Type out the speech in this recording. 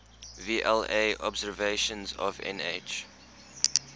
vla observations of nh